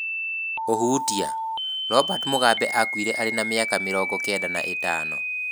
Hũhutia:Robert Mugabe akuire arĩ na mĩaka mirogo kenda na ĩtano